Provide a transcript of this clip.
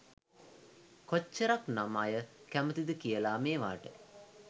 කොච්චරක්නම් අය කැමතිද කියලා මේවට?